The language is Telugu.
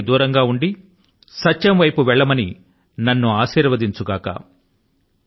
అసత్యానికి దూరం గా ఉండి సత్యం వైపు వెళ్ళవలసింది అని నన్ను ఆశీర్వదించు గాక